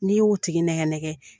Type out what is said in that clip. N'i y'o tigi nɛgɛ nɛgɛ